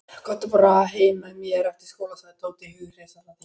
Komdu bara heim með mér eftir skóla sagði Tóti hughreystandi.